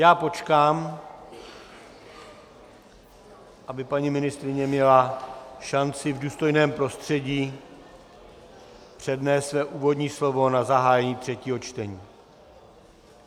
Já počkám, aby paní ministryně měla šanci v důstojném prostředí přednést své úvodní slovo na zahájení třetího čtení...